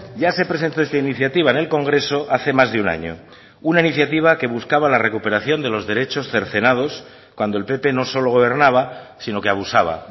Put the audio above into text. ya se presentó esta iniciativa en el congreso hace más de un año una iniciativa que buscaba la recuperación de los derechos cercenados cuando el pp no solo gobernaba sino que abusaba